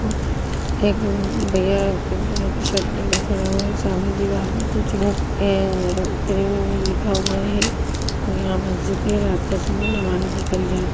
एक भ-भैया pink colour की शर्ट पहने खड़े हुएँ हैं। सामने दीवाल पे कुछ है। ग्रीन में लिखा हुआ है और यहाँ मस्जिद है। रात का समय नमाज़ अदा करी जा --